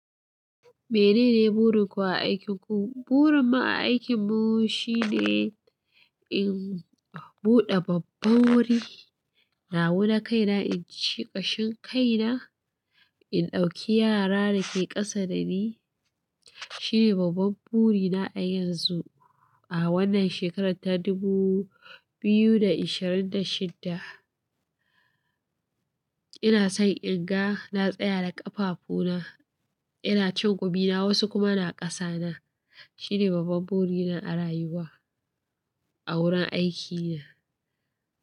Menene burin ku a aikinku? Burin mu a aikin mu shine in buɗe babban wuri. Na wuna kaina, in ci ƙashin kaina, in ɗauki yara da ke ƙasa dani. Shine babban buri na a yanzu a wannan shekarar ta dubu biyu da ashirin da shidda. Ina son in ga na tsaya da ƙafafu na, ina cin gomi na wasu kuma na ƙasa nan. Shine babban buri na a rayuwa a wurin aikina.